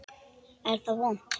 Er það vont?